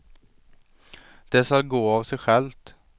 Det skall gå av sig självt.